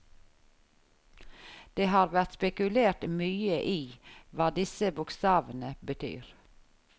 Det har vært spekulert mye i hva disse bokstavene betyr.